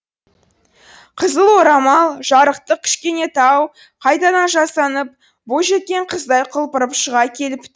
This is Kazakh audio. қызыл орамал жарықтық кішкенетау қайтадан жасанып бойжеткен қыздай құлпырып шыға келіп